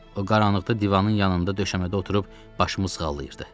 O qaranlıqda divanın yanında döşəmədə oturub başımı sığallayırdı.